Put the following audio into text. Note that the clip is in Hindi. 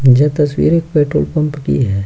ये तस्वीर एक पेट्रोल पंप की है।